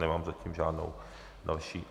Nemám zatím žádnou další...